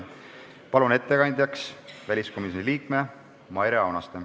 Palun ettekandjaks väliskomisjoni liikme Maire Aunaste.